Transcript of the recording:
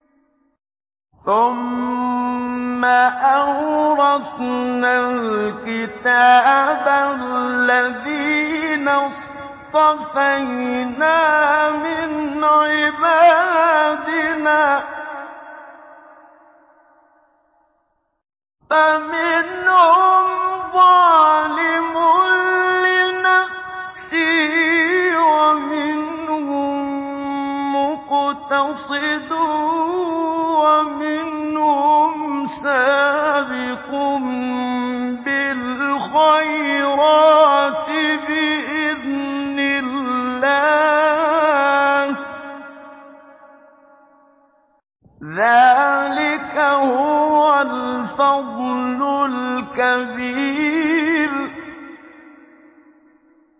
ثُمَّ أَوْرَثْنَا الْكِتَابَ الَّذِينَ اصْطَفَيْنَا مِنْ عِبَادِنَا ۖ فَمِنْهُمْ ظَالِمٌ لِّنَفْسِهِ وَمِنْهُم مُّقْتَصِدٌ وَمِنْهُمْ سَابِقٌ بِالْخَيْرَاتِ بِإِذْنِ اللَّهِ ۚ ذَٰلِكَ هُوَ الْفَضْلُ الْكَبِيرُ